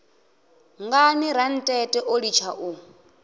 ngani rantete o litsha u